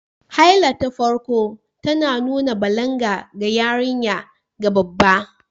Haila ta farko tana nuna balaga ga yarinya ga babba